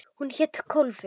Hún hét Kólfur.